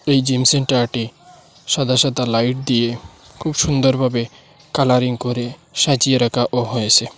এই জিমসেন্টারটি সাদা সাদা লাইট দিয়ে খুব সুন্দরভাবে কালারিং করে সাজিয়ে রাখা ও হয়েসে।